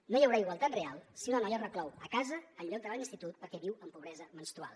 no hi haurà igualtat real si una noia es reclou a casa en lloc d’anar a l’institut perquè viu en pobresa menstrual